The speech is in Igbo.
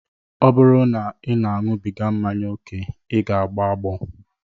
Ọ bụrụ na ị na-aṅụbiga mmanya ókè, ị ga-agbọ agbọ